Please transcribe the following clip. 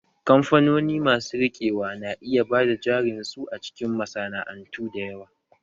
Kamfanoni masu riƙewa na iya bada jarin su a cikin masana'antu da yawa